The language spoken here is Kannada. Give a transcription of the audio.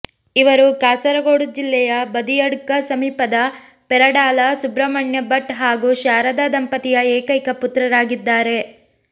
ಇವರು ಕಾಸರಗೋಡು ಜಿಲ್ಲೆಯ ಬದಿಯಡ್ಕ ಸಮೀಪದ ಪೆರಡಾಲ ಸುಬ್ರಹ್ಮಣ್ಯ ಭಟ್ ಹಾಗೂ ಶಾರದ ದಂಪತಿಯ ಏಕೈಕ ಪುತ್ರರಾಗಿದ್ದಾರೆ